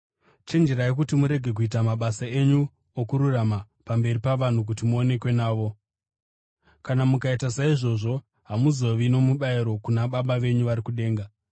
“Chenjerai kuti murege kuita ‘mabasa enyu okururama’ pamberi pavanhu kuti muonekwe navo. Kana mukaita saizvozvo, hamuzovi nomubayiro kuna Baba venyu vari kudenga.